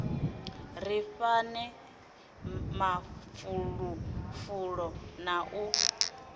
ri fhane mafulufulo na u